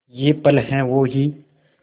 ये पल हैं वो ही